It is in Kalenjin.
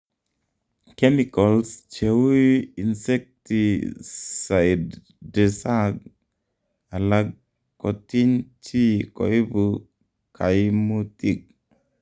chemicals che u insectisidesag alag kotiny chi koibu kaimutig